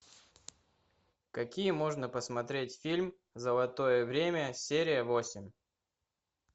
какие можно посмотреть фильм золотое время серия восемь